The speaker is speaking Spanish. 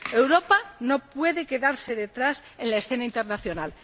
Europa no puede quedarse atrás en la escena internacional.